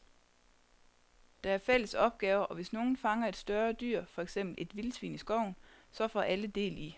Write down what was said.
Der er fælles opgaver, og hvis nogen fanger et større dyr, for eksempel et vildsvin i skoven, så får alle del i